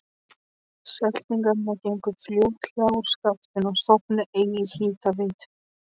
Seltirningar gengu fljótlega úr skaftinu og stofnuðu eigin hitaveitu.